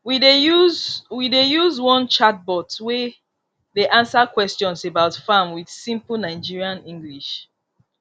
we dey use we dey use one chatbot wey dey answer question about farm with simple nigerian english